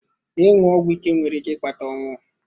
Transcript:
Ịṅụ ọgwụ ike nwere ike ịkpata ọnwụ.